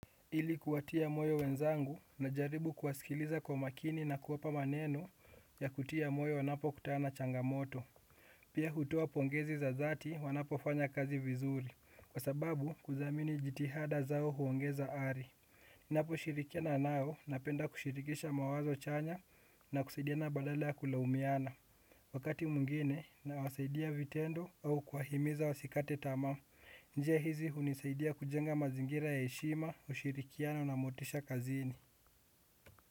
Ili kuwatia moyo wenzangu na jaribu kuwasikiliza kwa makini na kuwapa maneno ya kutia moyo wanapo kutana changamoto. Pia hutuo pongezi za dhati wanapo fanya kazi vizuri kwa sababu kuthamini jitihada zao huongeza ari. Napo shirikiana nao napenda kushirikisha mawazo chanya na kusaidiana na badala ya kulaumiana. Wakati mwingine na wasaidia vitendo au kwa himiza wasikate tamaa. Njia hizi hunisaidia kujenga mazingira ya heshima ushirikiana na motisha kazini.